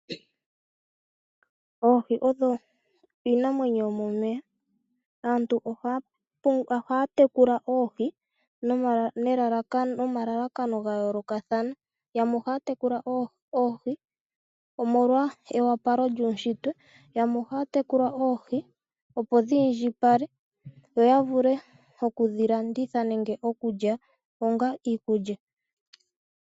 Oohi odho iinamwenyo yomomeya. Aantu ohaa tekula oohi nomalalakano ga yoolokakathana. Yamwe ohaa tekula oohi omolwa ewapalo lyuushitwe, yamwe ohaa tekula oohi opo dhiindjipale yo ya vule oku dhi landitha nenge okulya onga iikulya.